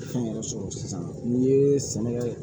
Fɛn yɛrɛ sɔrɔ sisan n'i ye sɛnɛ kɛ